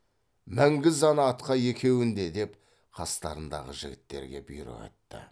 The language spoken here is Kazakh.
мінгіз ана атқа екеуін де деп қастарындағы жігіттерге бұйрық етті